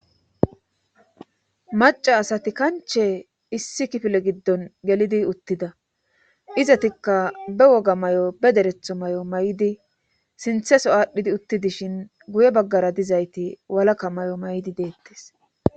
maca asati kanche issi kifile giddon gelidi uttida izatikka be woga may7o be deretho may7o may7idi sintheso aadhdhidi utti dishin guye baggara dizayti walakka may7o may7di deettes